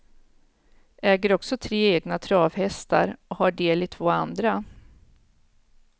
Äger också tre egna travhästar och har del i två andra.